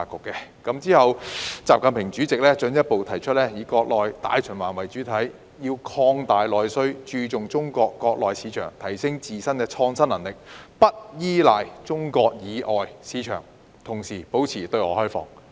其後，習近平主席進一步提出，以國內大循環為主體，要擴大內需，注重中國國內市場，提升自身創新能力，不依賴中國以外市場，同時保持對外開放。